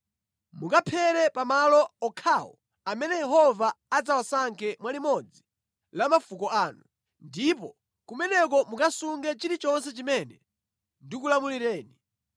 Mukaphere pa malo okhawo amene Yehova adzawasankhe mwa limodzi la mafuko anu, ndipo kumeneko mukasunge chilichonse chimene ndikulamulireni.